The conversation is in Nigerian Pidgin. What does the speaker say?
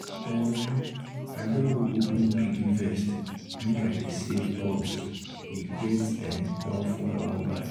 um i don go open piggyvest make i dey save cos e get um one phone i wan buy